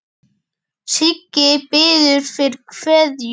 Siggi biður fyrir kveðju.